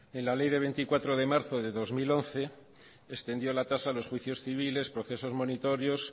en la ley de veinticuatro de marzo de dos mil once extendió la tasa a los juicios civiles procesos monitorios